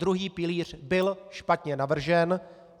Druhý pilíř byl špatně navržen.